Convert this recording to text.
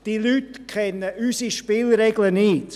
Diese Leute kennen unsere Spielregeln nicht: